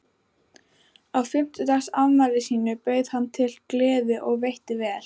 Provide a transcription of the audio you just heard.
Á fimmtugsafmæli sínu bauð hann til gleði og veitti vel.